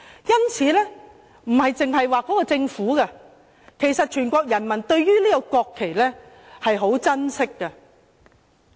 因此，不單是政府，其實全國人民對於國旗也十分珍惜。